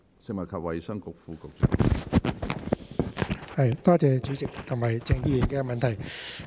食物及衞生局副局長，請作答。